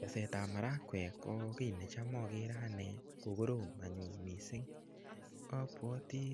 Keseet ap marakwek ko ki ne cha agere ane kokorom anyun missing'. Apwati